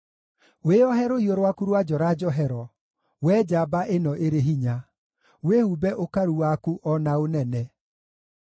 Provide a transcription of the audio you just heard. Wĩohe rũhiũ rwaku rwa njora njohero, Wee njamba ĩno ĩrĩ hinya; wĩhumbe ũkaru waku o na ũnene.